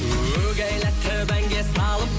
угәйләтіп әнге салып